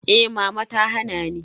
Eh mama ta hana ni.